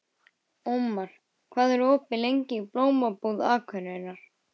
Ómar, hvað er opið lengi í Blómabúð Akureyrar?